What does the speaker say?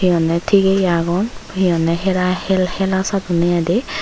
mannye tigeye agon hi honye hera hel hela sadonye I de.